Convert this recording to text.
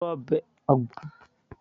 lo ọbẹ̀ ogbono náà